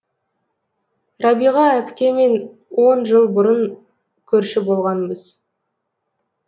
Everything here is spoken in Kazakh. рабиға апкемен он жыл бұрын көрші болғанбыз